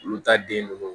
Olu ta den bɛ